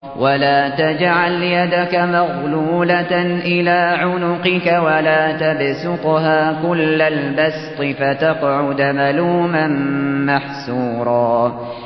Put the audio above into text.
وَلَا تَجْعَلْ يَدَكَ مَغْلُولَةً إِلَىٰ عُنُقِكَ وَلَا تَبْسُطْهَا كُلَّ الْبَسْطِ فَتَقْعُدَ مَلُومًا مَّحْسُورًا